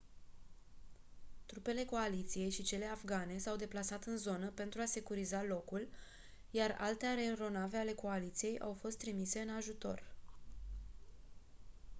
trupele coaliției și cele afgane s-au deplasat în zonă pentru a securiza locul iar alte aeronave ale coaliției au fost trimise în ajutor